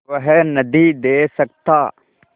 वह नदीं दे सकता